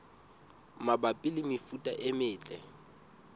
mabapi le mefuta e metle